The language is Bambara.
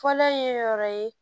Fɔlɔ ye yɔrɔ ye